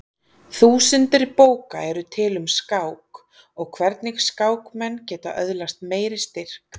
Þúsundir bóka eru til um skák og hvernig skákmenn geta öðlast meiri styrk.